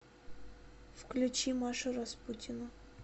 включи машу распутину